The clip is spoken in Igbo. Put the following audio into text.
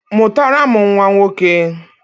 Mụtara m nnwa nwoke!